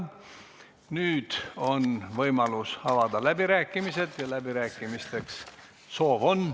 Nüüd on võimalus avada läbirääkimised ja läbirääkimisteks soovi on.